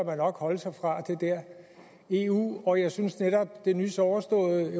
holde sig fra det der eu og jeg synes netop at det nys overståede